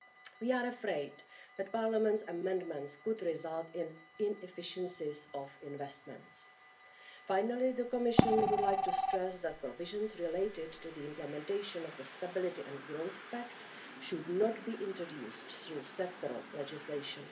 We are afraid that Parliament's amendments could result in inefficiencies of investments. Finally, the Commission would like to stress that provisions related to the implementation of the Stability and Growth Pact should not be introduced through sectoral legislation.